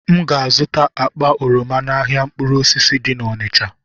M ga-azụta akpa oroma n'ahịa mkpụrụ osisi dị na Onịcha.